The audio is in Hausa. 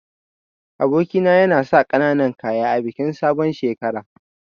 Aboki na yana sa kananan kaya a bikin sabon shekara.